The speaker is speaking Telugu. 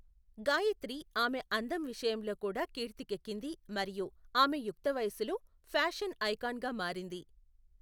గాయత్రి ఆమె అందం విషయంలో కూడా కీర్తికెకింది మరియు ఆమె యుక్తవయస్సులో ఫ్యాషన్ ఐకాన్గా మారింది.